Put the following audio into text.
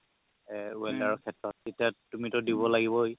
এ welder ৰ সেত্ৰত তেতিয়া তুমিতো দিব লাগিবই